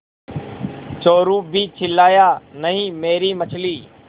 चोरु भी चिल्लाया नहींमेरी मछली